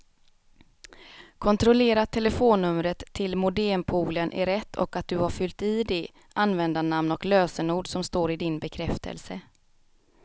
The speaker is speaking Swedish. Kontrollera att telefonnumret till modempoolen är rätt och att du har fyllt i det användarnamn och lösenord som står i din bekräftelse.